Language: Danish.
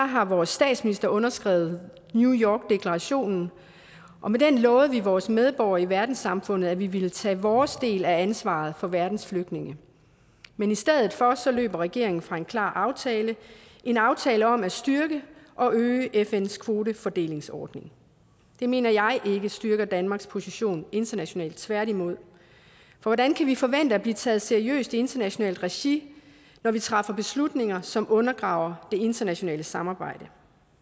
har vores statsminister underskrevet new york deklarationen og med den lovede vi vores medborgere i verdenssamfundet at vi ville tage vores del af ansvaret for verdens flygtninge men i stedet for løb regeringen fra en klar aftale en aftale om at styrke og øge fns kvotefordelingsordning det mener jeg ikke styrker danmarks position internationalt tværtimod for hvordan kan vi forvente at blive taget seriøse i internationalt regi når vi træffer beslutninger som undergraver det internationale samarbejde